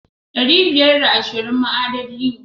Ɗari biyar da ashirin ma adadi ne.